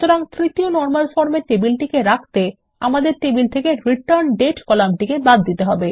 সুতরাং তৃতীয় normal form এ টেবিলটিকে রাখতে আমাদের টেবিল থেকে রিটার্ন্ডেট কলামটি বাদ দিতে হবে